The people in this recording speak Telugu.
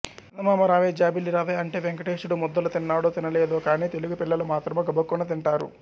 చందమామ రావే జాబిల్లి రావే అంటే వేంకటేశుడు ముద్దలు తిన్నాడో తినలేదో కానీ తెలుగు పిల్లలు మాత్రము గబుక్కున తింటారు